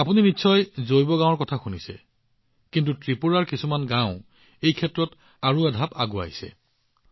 আপোনালোকে নিশ্চয় জৈৱগাঁৱৰ বিষয়ে শুনিছে কিন্তু ত্ৰিপুৰাৰ কিছুমান গাওঁ জৈৱগাঁও ২ৰ স্তৰলৈ উন্নীত হৈছে